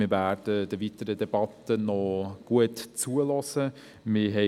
Wir werden der weiteren Debatte gut zuhören.